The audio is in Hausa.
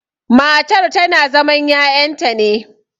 matar tana zaman ya'yanta ne